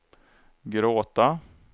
gråta